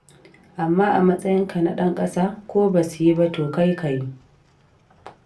Amma a matsayinka na ɗan ƙasa, ko ba su yi ba, to kai ka yi.